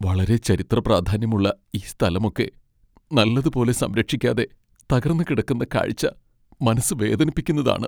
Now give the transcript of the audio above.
വളരെ ചരിത്രപ്രാധാന്യമുള്ള ഈ സ്ഥലമൊക്കെ നല്ലതുപോലെ സംരക്ഷിക്കാതെ തകർന്ന് കിടക്കുന്ന കാഴ്ച മനസ്സ് വേദനിപ്പിക്കുന്നതാണ്.